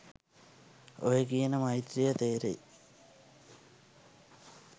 ඔය කියන මෛත්‍රීය තේරෙයි